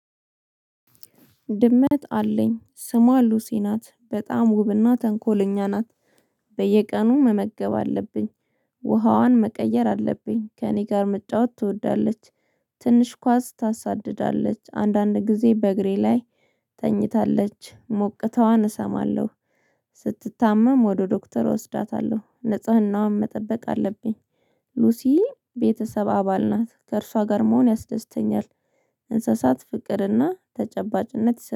ድመት አለኝ። ስሟ ሉሲ ናት። በጣም ውብና ተንኮለኛ ናት። በየቀኑ መመገብ አለብኝ። ውሃዋን መቀየር አለብኝ። ከእኔ ጋር መጫወት ትወዳለች። ትንሽ ኳስ ታሳድዳለች። አንዳንድ ጊዜ በእግሬ ላይ ተኝታለች። ሞቅታዋን እሰማለሁ። ስትታመም ወደ ዶክተር እወስዳታለሁ ንጽህናዋን መጠበቅ አለብኝ ሉሲ ቤተሰብ አባል ናት ከእርሷ ጋር መሆን ያስደስተኛል እንስሳት ፍቅርና ተጨባጭነት